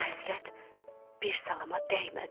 Bu həsrət bir salama dəymədi.